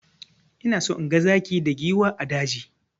Ina so inga zaki da giwa a daji.